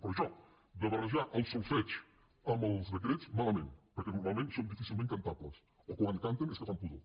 pe·rò això de barrejar el solfeig amb els decrets mala·ment perquè normalment són difícilment cantables o quan canten és que fan pudor